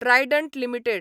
Trident limited